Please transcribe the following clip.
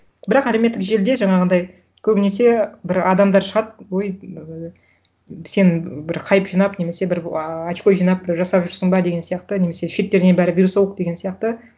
бірақ әлеуметтік желіде жаңағындай көбінесе бір адамдар шығады өй ыыы сен бір хайп жинап немесе бір очко жинап бір жасап жүрсін бе деген сияқты немесе шеттерінен бәрі вирусолог деген сияқты